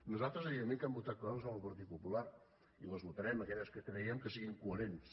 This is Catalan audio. nosaltres evidentment que hem votat coses amb el partit popular i votarem aquelles que creguem que siguin coherents